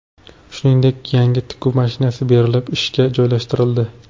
Shuningdek, yangi tikuv mashinasi berilib, ishga joylashtirildi.